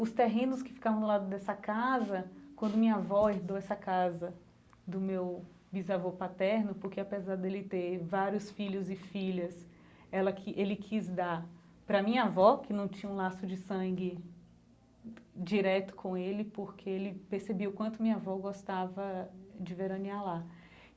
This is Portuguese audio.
Os terrenos que ficavam no lado dessa casa, quando minha avó herdou essa casa do meu bisavô paterno, porque apesar dele ter vários filhos e filhas, ela quis ele quis dar pra minha avó que não tinha um laço de sangue direto com ele, porque ele percebia o quanto minha avó gostava de veranear lá.